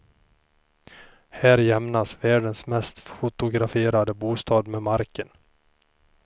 Här jämnas världens mest fotograferade bostad med marken.